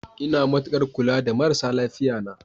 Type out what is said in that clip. Ina matukar kula da marasa lafiya na.